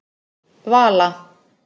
Vala